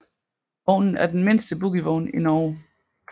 Vognen er den mindste bogievogn i Norge